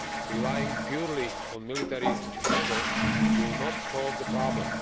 Relying purely on military measures will not solve the problem.